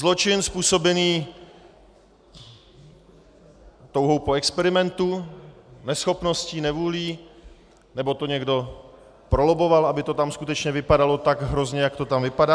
Zločin způsobený touhou po experimentu, neschopností, nevůlí, nebo to někdo prolobboval, aby to tam skutečně vypadalo tak hrozně, jak to tam vypadá.